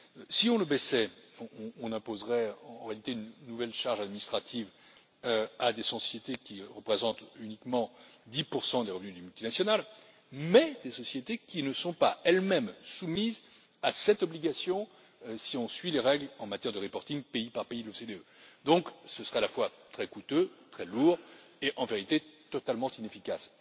Si on l'abaissait, on imposerait en réalité une nouvelle charge administrative à des sociétés qui représentent uniquement 10 des revenus des multinationales, mais des sociétés qui ne sont pas elles mêmes soumises à cette obligation, si on suit les règles en matière de reporting pays par pays de l'OCDE. Ce serait donc à la fois très coûteux, très lourd et, en vérité, totalement inefficace.